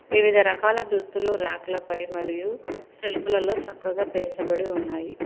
వివిధ రకాల దుస్తులు ర్యాక్ల పై మరియు షెల్ఫ్ లలో చక్కగా పేర్చబడి ఉన్నాయి.